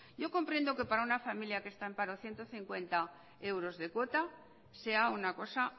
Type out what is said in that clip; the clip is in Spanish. yo comprendo que para una familia que está en paro ciento cincuenta euros de cuota sea una cosa